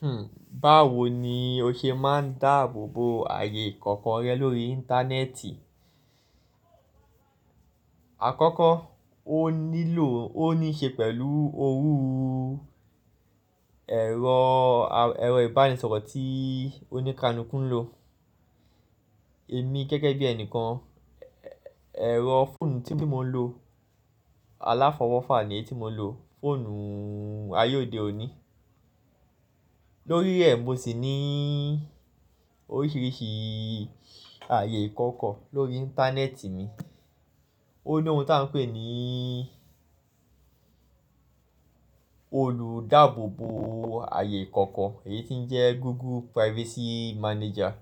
Hmm, báwo ni o ṣe máa ń dáàbò bo ààyè ìkọ̀kọ̀ rẹ lórí Íńtánẹ́ẹ̀tì? Àkọ́kọ́, o nílò ó ní ṣe pẹ̀lú òrú ú, ẹ̀rọ, ẹ̀rọ ìbánisọ̀rọ̀ tí ó ní káàlùku n lò. Èmi gẹ́gẹ́ bí ẹnìkan, ẹ̀rọ fóònù tí mo ń lò, aláfọwọ́fà ni èyí tí mo ń lò, fóònù ayé òde òní. Lórí rẹ̀, mo sì ní oríṣìíríṣìí ààyè ìkọ̀kọ̀ lórí Íńtánẹ́ẹ̀tì mi. Ó ní ohun tí a ń pè ní olùdáàbò bo ààyè ìkọ̀kọ̀ èyí tí ń jẹ́ Google Privacy Manager.